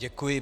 Děkuji.